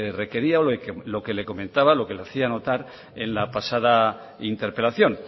requería o lo que le comentaba lo que le hacía notar en la pasada interpelación